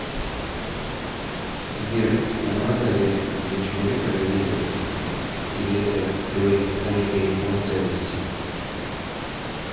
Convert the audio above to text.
сбер нормально ли для человека завидовать или это говорит о некой неполноценности